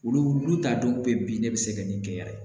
Olu olu ta dɔw bɛ bin ne bɛ se ka nin kɛ yan